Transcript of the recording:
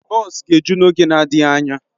Bọs ga-eju n'oge na-adịghị anya.